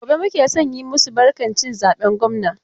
Gobe muke so mu yi masu barkan cin zaben gwamna.